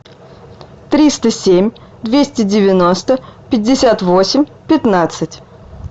триста семь двести девяносто пятьдесят восемь пятнадцать